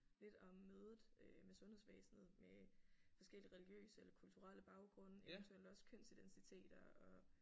Lidt om mødet øh med sundhedsvæsenet med forskellige religiøse eller kulturelle baggrunde eventuelt også kønsidentiteter og